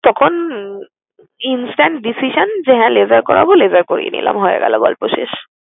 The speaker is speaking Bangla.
তখন উম instant decision যে হ্যাঁ laser করাবো, laser করিয়ে নিলাম, হয়ে গেলো গল্প শেষ।